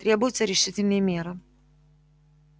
требуются решительные меры